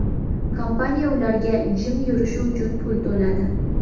Kompaniya ularga jim yurishi uchun pul to‘ladi.